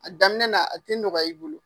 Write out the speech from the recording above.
A daminɛ na a tɛ nɔgɔya i bolo.